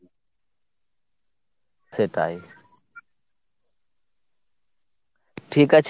সেটাই। ঠিকাছে